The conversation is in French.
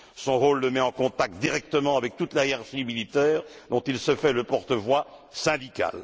Son rôle le met en contact, directement, avec toute la hiérarchie militaire, dont il se fait le porte voix syndical.